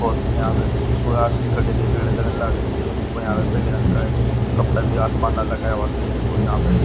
बहुत से आदमी छोरा देखन भीड़ लगीन से ऊपर पहले रंग का कपड़ा भी आसमान ना लगाया हुआ से और यहाँ पे--